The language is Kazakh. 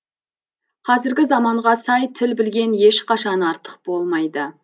қазіргі заманға сай тіл білген ешқашан артық болмайды